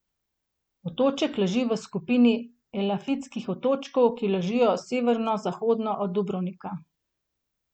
Otoček leži v skupini Elafitskih otočkov, ki ležijo severozahodno od Dubrovnika.